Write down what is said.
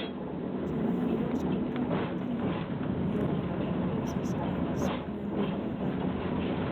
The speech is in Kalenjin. Chemiondos kotam kotinye myelofibrosis ak splenomegaly.